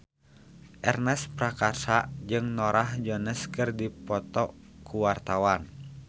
Ernest Prakasa jeung Norah Jones keur dipoto ku wartawan